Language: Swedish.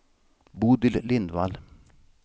Bodil Lindvall